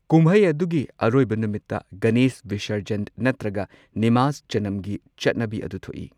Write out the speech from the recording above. ꯀꯨꯝꯍꯩ ꯑꯗꯨꯒꯤ ꯑꯔꯣꯏꯕ ꯅꯨꯃꯤꯠꯇ, ꯒꯅꯦꯁ ꯕꯤꯁꯔꯖꯟ ꯅꯠꯇ꯭ꯔꯒ ꯅꯤꯃꯖꯖꯅꯝꯒꯤ ꯆꯠꯅꯕꯤ ꯑꯗꯨ ꯊꯣꯛꯏ꯫